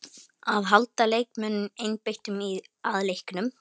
Að halda leikmönnunum einbeittum að leiknum.